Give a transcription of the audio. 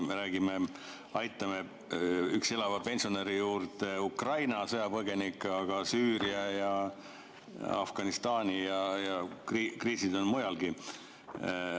Me aitame üksi elava pensionäri juurde Ukraina sõjapõgenikke, aga on ka Süüria ja Afganistan ja kriisid on mujalgi.